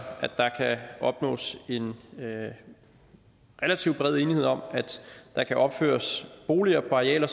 at der kan opnås en relativt bred enighed om at der kan opføres boliger på arealer